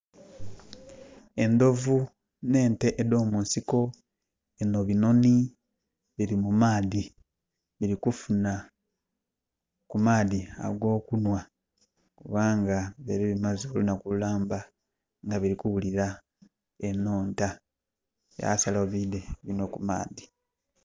Endovu n' ente edo munsiko, bino binoni biri mumaadhi diri kufuna kumaadhi ago kunwa kubanga dibaire dimaze olunaku lulamba nga dirikuwulira enhonta byasalawo bidhe binwe kumaadhi